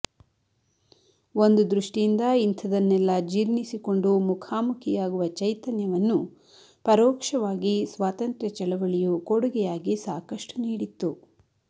ಒಂದು ದೃಷ್ಟಿಯಿಂದ ಇಂಥದನ್ನೆಲ್ಲ ಜೀರ್ಣಿಸಿಕೊಂಡು ಮುಖಾಮುಖಿಯಾಗುವ ಚೈತನ್ಯವನ್ನು ಪರೋಕ್ಷವಾಗಿ ಸ್ವಾತಂತ್ರ ಚಳವಳಿಯು ಕೊಡುಗೆಯಾಗಿ ಸಾಕಷ್ಟು ನೀಡಿತ್ತು